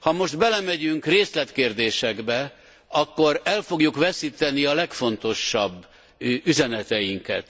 Ha most belemegyünk részletkérdésekbe, akkor el fogjuk veszíteni a legfontosabb üzeneteinket.